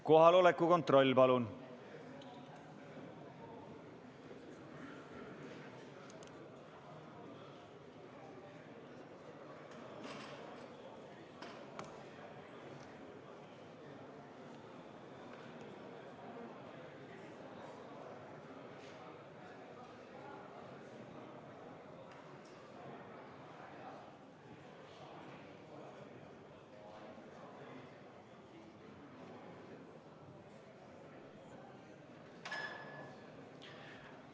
Kohaloleku kontroll, palun!